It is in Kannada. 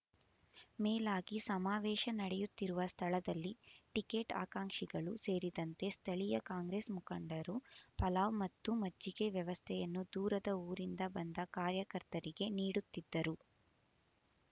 ಮೇಲಾಗಿ ಸಮಾವೇಶ ನಡೆಯುತ್ತಿರುವ ಸ್ಥಳದಲ್ಲಿ ಟಿಕೆಟ್ ಆಕಾಂಕ್ಷಿಗಳು ಸೇರಿದಂತೆ ಸ್ಥಳೀಯ ಕಾಂಗ್ರೆಸ್ ಮುಖಂಡರು ಪಲಾವ್ ಮತ್ತು ಮಜ್ಜಿಗೆ ವ್ಯವಸ್ಥೆಯನ್ನು ದೂರದ ಊರಿಂದ ಬಂದ ಕಾರ್ಯಕರ್ತರಿಗೆ ನೀಡುತ್ತಿದ್ದರು